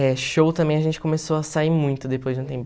É, show também a gente começou a sair muito depois de um tempo.